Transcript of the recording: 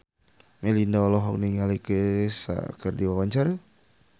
Melinda olohok ningali Kesha keur diwawancara